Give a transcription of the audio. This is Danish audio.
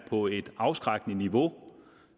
på et afskrækkende niveau